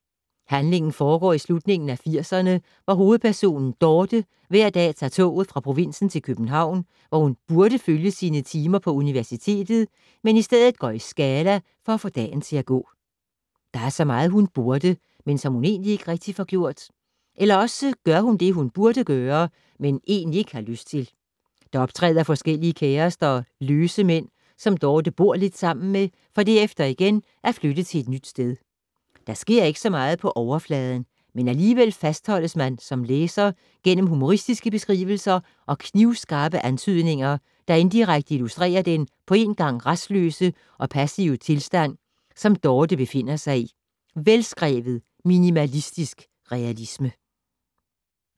Handlingen foregår i slutningen af firserne, hvor hovedpersonen Dorte hver dag tager toget fra provinsen til København, hvor hun burde følge sine timer på universitetet, men i stedet går i Scala for at få dagen til at gå. Der er så meget, hun burde, men som hun ikke rigtig får gjort. Eller også gør hun det, hun burde gøre, men egentlig ikke har lyst til. Der optræder forskellige kærester og "løse" mænd, som Dorte bor lidt sammen med, for derefter igen at flytte til et nyt sted. Der sker ikke så meget på overfladen, men alligevel fastholdes man som læser gennem humoristiske beskrivelser og knivskarpe antydninger, der indirekte illustrerer den på én gang rastløse og passive tilstand, som Dorte befinder sig i. Velskrevet minimalistisk realisme.